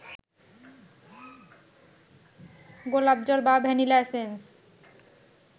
গোলাপজল বা vanilla essence